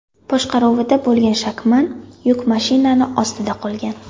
boshqaruvida bo‘lgan Shacman yuk mashinasi ostida qolgan.